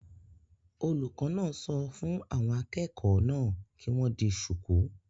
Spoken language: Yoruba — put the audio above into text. Olùkọ́ náà sọ fún àwọn akẹ́kọ̀ọ́ náà kí wọ́n di shùkú